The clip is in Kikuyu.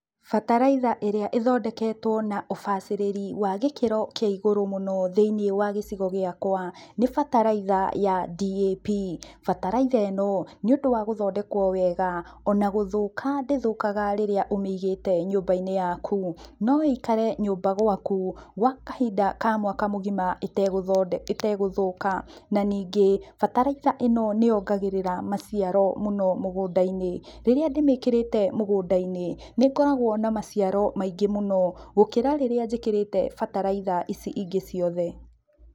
Bataraitha ĩrĩa ĩthondeketwo na ũbacĩrĩri wa gĩkĩro kia igũrũ mũno thĩinĩ wa gĩcigo gĩakwa nĩ bataraitha ya DAP. Bataraitha ĩno nĩũndũ wa gũthondekwo wega, ona gũthũka ndĩthũkaga rĩrĩa ũmĩigĩte nyũmbainĩ yaku, no ĩikare nyũmbainĩ gwaku gwa kahinda ka mwaka mũgima ĩtegũthũka, na ningĩ bataraitha ĩno nĩyongagĩrĩra maciaro mũno mũgũndainĩ, rĩrĩa ndĩmĩkĩrĩte mũgũndainĩ nĩngoragwo na maciaro maingĩ mũno gũkĩra rĩrĩa njĩkĩrĩte bataraitha ici ingĩ ciothe.